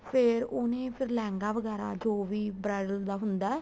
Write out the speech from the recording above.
ਫ਼ੇਰ ਉਹਨੇ ਫ਼ਿਰ ਲਹਿੰਗਾ ਵਗੈਰਾ ਜੋ ਵੀ bridal ਦਾ ਹੁੰਦਾ ਏ